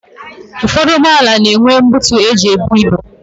Ụfọdụ ụgbọala na-enwe buutu e ji ebu ibu.